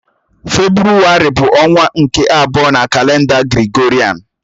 Febrụwarị bụ ọnwa nke abụọ na kalenda Gregorịan.